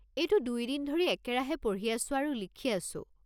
এইটো দুইদিন ধৰি একেৰাহে পঢ়ি আছো আৰু লিখি আছো।